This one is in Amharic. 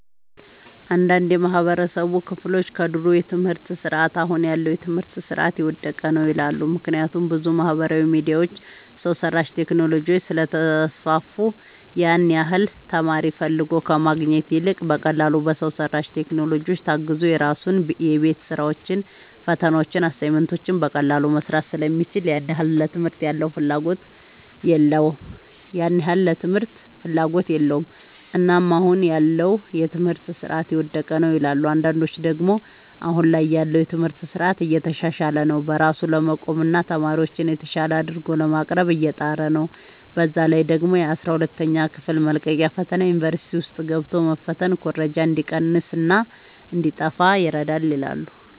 አንዳንድ የማህበረሰቡ ክፍሎች ከድሮ የትምህርት ስርዓት አሁን ያለው የትምህርት ስርዓት የወደቀ ነው ይላሉ። ምክንያቱም ብዙ ማህበራዊ ሚዲያዎች፣ ሰው ሰራሽ ቴክኖሎጂዎች ስለተስፋፉ ያን ያህል ተማሪ ፈልጎ ከማግኘት ይልቅ በቀላሉ በሰው ሰራሽ ቴክኖሎጂዎች ታግዞ የራሱን የቤት ስራዎችን፣ ፈተናዎችን፣ አሳይመንቶችን በቀላሉ መስራት ስለሚችል ያን ያህል ለትምህርት ፍላጎት የለውም። እናም አሁን ያለው የትምህርት ስርዓት የወደቀ ነው ይላሉ። አንዳንዶች ደግሞ አሁን ላይ ያለው የትምህርት ስርዓት እየተሻሻለ ነው። በራሱ ለመቆምና ተማሪዎችን የተሻለ አድርጎ ለማቅረብ እየጣረ ነው። በዛ ላይ ደግሞ የአስራ ሁለተኛ ክፍል መልቀቂያ ፈተና ዩኒቨርሲቲ ውስጥ ገብቶ መፈተን ኩረጃ እንዲቀንስና እንዲጣፋ ይረዳል ይላሉ።